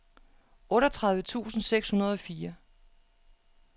otteogtredive tusind seks hundrede og fire